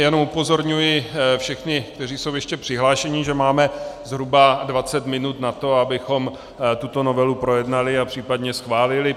Jen upozorňuji všechny, kteří jsou ještě přihlášeni, že máme zhruba 20 minut na to, abychom tuto novelu projednali a případně schválili.